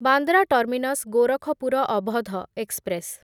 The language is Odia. Bandra terminus Gorakhpur Awadh express